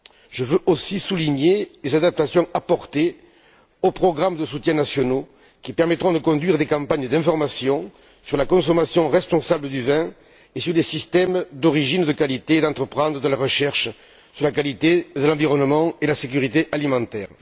Je veux aussi souligner les adaptations apportées aux programmes de soutien nationaux qui permettront de conduire des campagnes d'information sur la consommation responsable du vin et sur des systèmes d'origine de qualité et d'entreprendre de la recherche sur la qualité de l'environnement et sur la sécurité alimentaire.